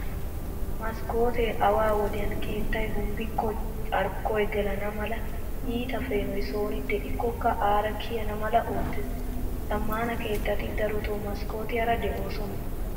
Maskkootee awa wodiyan keettay hombbikko carkkoy gelana mala , iita peenoy sooni de'ikkokka aara kiyana mala oottees. Zammaana keettati daroto maskkootiyaara de"oosona.